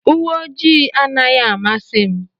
uwe ojii anaghị amasị m.